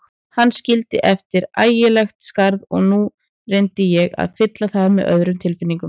Hann skildi eftir ægilegt skarð og nú reyndi ég að fylla það með öðrum tilfinningum.